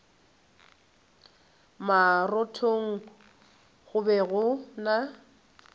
marothong go be go na